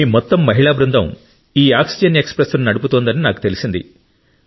మీ మొత్తం మహిళా బృందం ఈ ఆక్సిజన్ ఎక్స్ప్రెస్ను నడుపుతోందని నాకు తెలిసింది